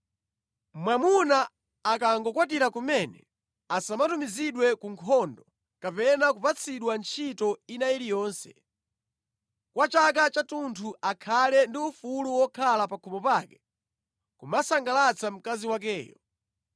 Mwamuna akangokwatira kumene asamatumizidwe ku nkhondo kapena kupatsidwa ntchito ina iliyonse. Kwa chaka chathunthu akhale ndi ufulu wokhala pa khomo pake kumasangalatsa mkazi wakeyo.